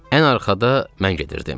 Ən arxada mən gedirdim.